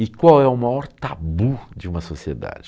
E qual é o maior tabu de uma sociedade?